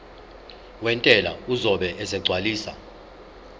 wentela uzobe esegcwalisa